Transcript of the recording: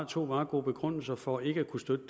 to meget gode begrundelser for ikke at kunne støtte